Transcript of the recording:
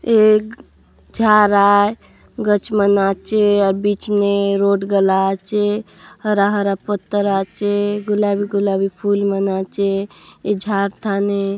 एक झारा है गचमा नाचे और बीच में रोड गला च आचे हरा हरा पत्थर आछे गुलाबी गुलाबी फूल माँ नाचे ए झाट ठाणे --